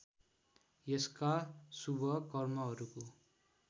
यसका शुभ कर्महरूको